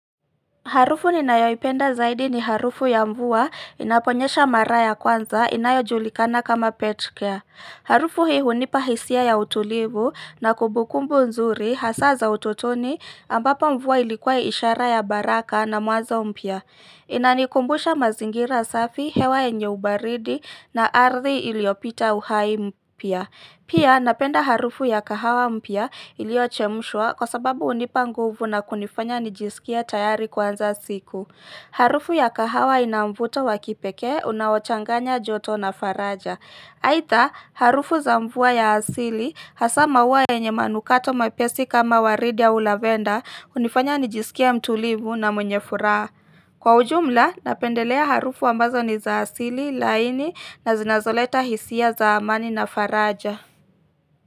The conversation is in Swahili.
Harufu ni ninayo ipenda zaidi ni harufu ya mvua inaponyesha mara ya kwanza inayo julikana kama Petcare. Harufu hii hunipa hisia ya utulivu na kumbukumbu nzuri hasaa za utotoni ambapo mvua ilikuwa ishara ya baraka na mwanzo mpya. Inanikumbusha mazingira safi hewa yenye ubaridi na ardhi iliyopita uhai mpya. Pia napenda harufu ya kahawa mpya ilio chemshwa kwa sababu unipa nguvu na kunifanya nijisikie tayari kuanza siku. Harufu ya kahawa inamvuto wakipekee unaochanganya joto na faraja. Aidha harufu za mvua ya asili hasaa maua yenye manukato mepesi kama waridi au lavenda hunifanya nijisikie mtulivu na mwenye furaha. Kwa ujumla napendelea harufu ambazo ni za asili laini na zinazoleta hisia za amani na faraja.